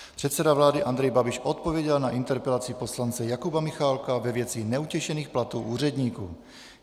Předseda vlády Andrej Babiš odpověděl na interpelaci poslance Jakuba Michálka ve věci neutěšených platů úředníků.